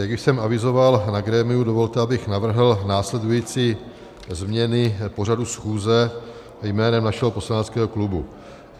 Již jsem avizoval na grémiu, dovolte, abych navrhl následující změny pořadu schůze jménem našeho poslaneckého klubu.